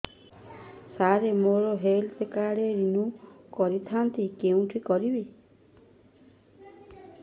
ସାର ମୋର health card renew କରିଥାନ୍ତି କେଉଁଠି କରିବି